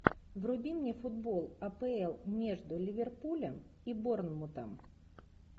вруби мне футбол апл между ливерпулем и борнмутом